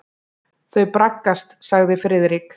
Þau braggast sagði Friðrik.